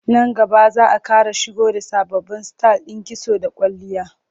Nan gaba za a ƙara shigo da sababbin sitayil ɗin kitso da kwalliya.